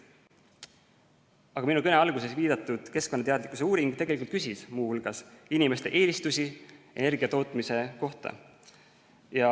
Aga minu kõne alguses viidatud keskkonnateadlikkuse uuring tegelikult küsis muu hulgas inimeste eelistusi energiatootmise kohta.